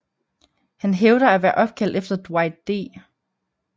Han hævder at være opkaldt efter Dwight D